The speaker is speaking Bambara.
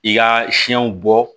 I ka siɲɛw bɔ